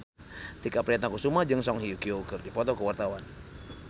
Tike Priatnakusuma jeung Song Hye Kyo keur dipoto ku wartawan